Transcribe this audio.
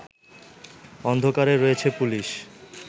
অন্ধকারেই রয়েছে পুলিশ